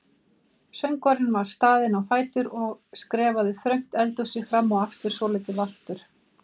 Um leið var ég hrædd um að gera mistök og missa hana aftur.